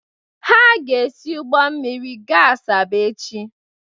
Ha ga-esi ụgbọ mmiri gaa Asaba echi.